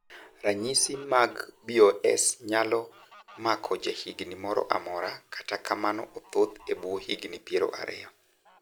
Ranyisi mag BOS nyalo mako ja higni moro amora kata kamano othoth e buo higni piero ariyo.